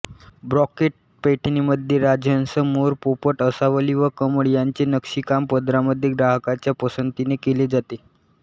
ब्रॉकेट पैठणीमध्ये राजहंस मोर पोपट आसावली व कमळ यांचे नक्षीकाम पदरामध्ये ग्राहकांच्या पसंतीने केले जाते